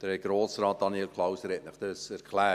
Herr Grossrat Daniel Klauser hat Ihnen dies erklärt.